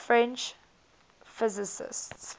french physicists